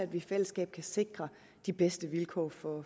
vi i fællesskab kan sikre de bedste vilkår for